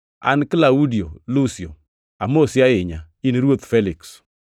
An Klaudio Lusio, amosi ahinya in ruoth Feliks.